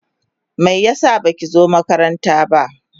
Me yasa baki zo makaranta ba?